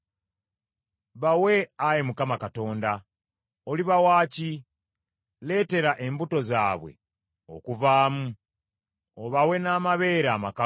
Bawe Ayi Mukama Katonda. Olibawa ki? Leetera embuto zaabwe okuvaamu obawe n’amabeere amakalu.